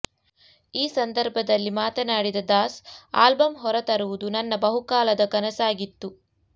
ಈ ಸಂದರ್ಭದಲ್ಲಿ ಮಾತನಾಡಿದ ದಾಸ್ ಆಲ್ಬಂ ಹೊರತರುವುದು ನನ್ನ ಬಹುಕಾಲದ ಕನಸಾಗಿತ್ತು